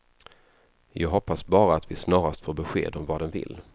Jag hoppas bara att vi snarast får besked om vad den vill.